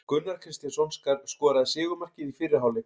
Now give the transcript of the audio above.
Gunnar Kristjánsson skoraði sigurmarkið í fyrri hálfleik.